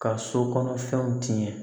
Ka sokɔnɔ fɛnw tiɲɛ